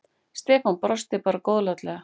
Stefán brosti bara góðlátlega.